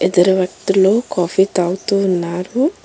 ఇద్దరు వ్యక్తులు కాఫీ తాగుతూ ఉన్నారు.